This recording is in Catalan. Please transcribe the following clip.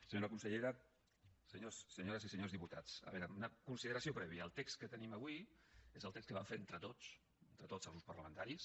senyora consellera senyores i senyors diputats a veure una consideració prèvia el text que tenim avui és el text que vam fer entre tots entre tots els grups parlamentaris